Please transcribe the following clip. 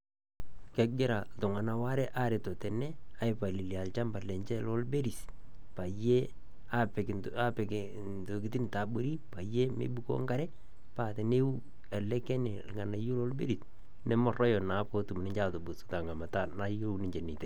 Kegira ltung'anak aware aretoo tene aipalilia ilchamba lenchee lo berries panye apiik, apiik ntokitin ta abori panye meibukoo nkaree. Paa teneyuu ale kenee ilng'anayo la berries nemeroyo naa pootum ninchee atubuus te ng'amataa naiyeu ninchee netei.